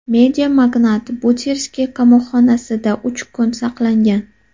Mediamagnat Butirskiy qamoqxonasida uch kun saqlangan.